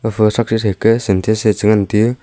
fa thraksi threke sintax e chengan tiu.